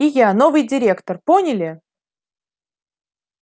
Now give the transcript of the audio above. и я новый директор поняли